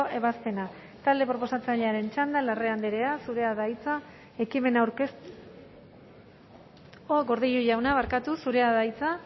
ebazpena talde proposatzailearen txanda larrea andrea zurea da hitza ekimena aurkeztu gordillo jauna barkatu zurea da hitza